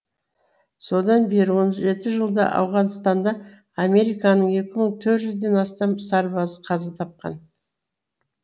содан бергі он жеті жылда ауғанстанда американың екі мың төрт жүзден астам сарбазы қаза тапқан